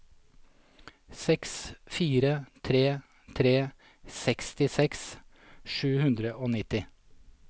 seks fire tre tre sekstiseks sju hundre og nitti